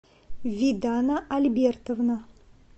видана альбертовна